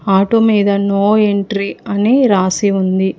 Auto మీద no entry అని రాసి ఉంది.